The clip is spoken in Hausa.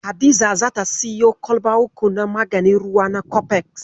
Hadiza ta siyo kwalba uku na maganin ruwa na kofeks.